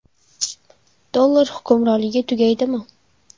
Dollar hukmronligi tugaydimi?